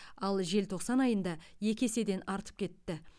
ал желтоқсан айында екі еседен артып кетті